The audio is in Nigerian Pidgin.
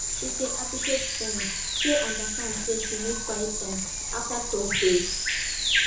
she dey appreciate friends wey understand say she need quiet time after tough days